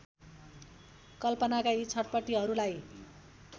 कल्पनाका यी छटपटीहरूलाई